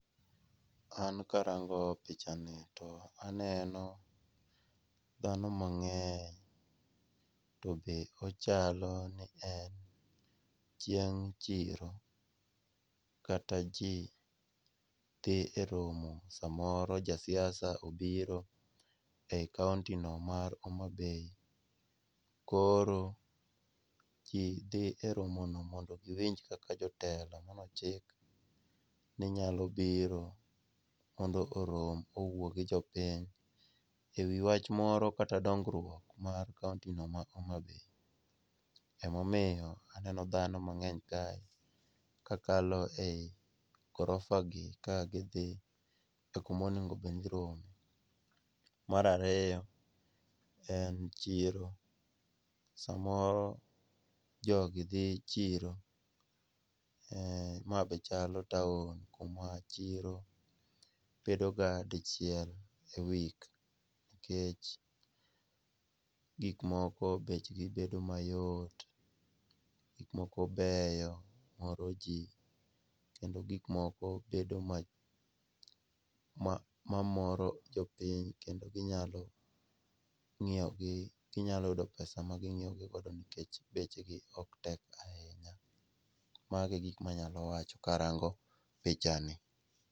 An karango pichani, to aneno dhano mang'eny to be ochalo ni en chieng' chiro. Kata ji dhi e romo , samoro jasiasa obiro e county no mar Homabay. Koro ji dhi e romono mondo giwinj kaka jotelo mane ochiki ni nyalo biro mondo orom owuo gi jopiny e wach moro kata dongruok mar county no mar Homabay. Emomiyo aneno dhano mang'eny kae kakalo ei ghorofa gi ka gidhi e kuma onengo obed ni girome. Mar ariyo, en chiro. Samoro jogi dhi chiro. Ma be chalo town kuma chiro bedoga dichiel e week nikech gik moko bechgi bedo mayot, gik moko beyo moro ji, kendo gik moko bedo mamoro jopiny kendo ginyalo nyiewogi, ginyalo yudo pesa maginyiewogi godo nikech bechgi ok tekga ahinya. Mago e gik ma anyalo wacho karango pichani.